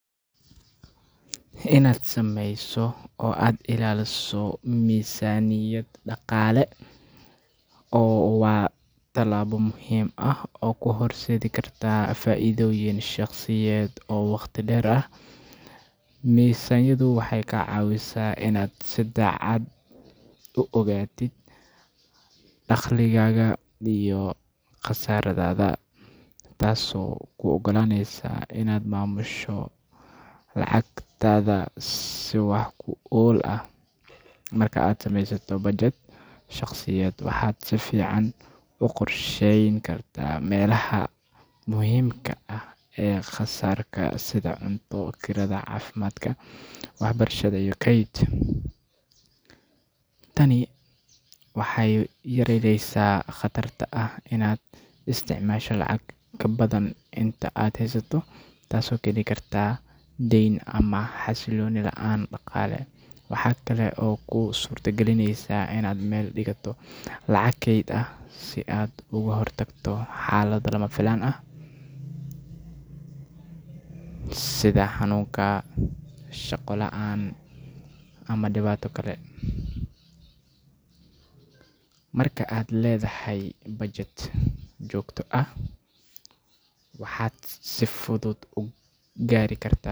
Inaad samaysato oo aad ilaaliso miisaaniyad dhaqaale waa tallaabo muhiim ah oo kuu horseedi karta faa’iidooyin shaqsiyeed oo waqti dheer ah. Miisaaniyaddu waxay kaa caawisaa inaad si cad u ogaatid dakhligaaga iyo kharashaadkaaga, taasoo kuu ogolaanaysa inaad maamusho lacagtaada si wax ku ool ah. Marka aad samaysato budget shaqsiyeed, waxaad si fiican u qorsheyn kartaa meelaha muhiimka ah ee kharashka sida cunto, kirada, caafimaadka, waxbarashada iyo kayd. Tani waxay yareyneysaa khatarta ah inaad isticmaasho lacag ka badan inta aad haysato, taas oo keeni karta deyn ama xasillooni la’aan dhaqaale. Waxaa kale oo ay kuu suurtagelinaysaa inaad meel dhigato lacag kayd ah si aad uga hortagto xaalado lama filaan ah sida xanuun, shaqo la’aan ama dhibaato kale. Marka aad leedahay budget joogto ah, waxaad si fudud u gaari kartaa.